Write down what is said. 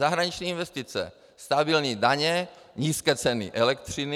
Zahraniční investice, stabilní daně, nízké ceny elektřiny.